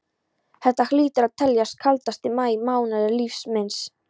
Þetta hlýtur að teljast kaldasti maí mánuður lífs míns.